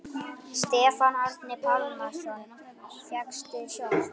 Stefán Árni Pálsson: Fékkstu sjokk?